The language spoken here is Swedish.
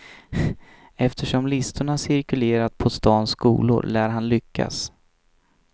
Eftersom listorna cirkulerat på stans skolor lär han lyckas.